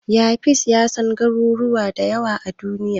Yafiz ya san garuruwa da yawa a Duniya.